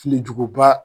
Filijuguba